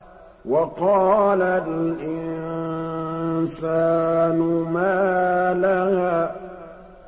وَقَالَ الْإِنسَانُ مَا لَهَا